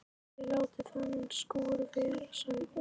Þið látið þennan skúr vera sagði hún.